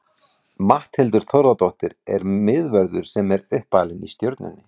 Matthildur Þórðardóttir er miðvörður sem er uppalin í Stjörnunni.